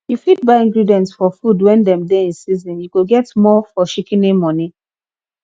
you fit buy ingredients for food when dem dey in season you go get more for shikini money